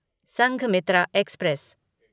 Sanghamitra express